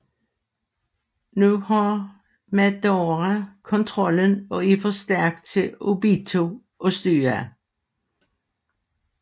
Nu har Madara kontrollen og er for stærk for Obito at styre